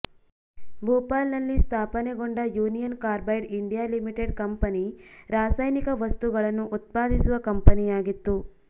ಭೂಪಾಲ್ ನಲ್ಲಿ ಸ್ಥಾಪನೆಗೊಂಡ Union Carbide India Limited company ರಾಸಾಯನಿಕ ವಸ್ತುಗಳನ್ನು ಉತ್ಪಾದಿಸುವ ಕಂಪನಿಯಾಗಿತ್ತು